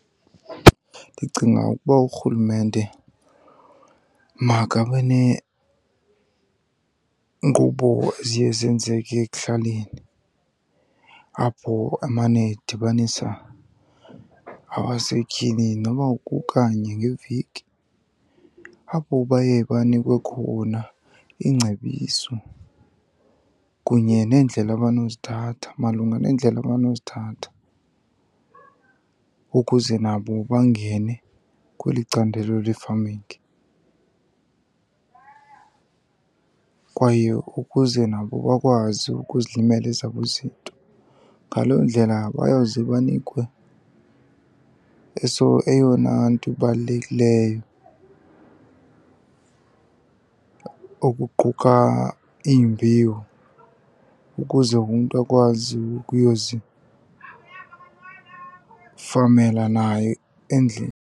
Ndicinga ukuba urhulumente makabe neenkqubo eziye zenzeke ekuhlaleni apho amane edibanisa abasetyhini noba kukanye ngeveki. Apho baye banikwe khona iingcebiso kunye neendlela abanozithatha malunga neendlela abanozithatha ukuze nabo bangene kweli candelo le-farming kwaye ukuze nabo bakwazi ukuzilimela ezabo izinto. Ngaloo ndlela bayawuze banikwe eyona nto ibalulekileyo okuquka iimbewu ukuze umntu akwazi ukuyozifamela naye endlini.